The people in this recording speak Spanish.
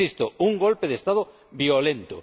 Insisto, un golpe de Estado violento.